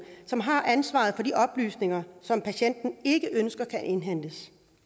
som har ansvaret for de oplysninger som patienten ikke ønsker kan indhentes